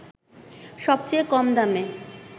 সবচেয়ে কম দামে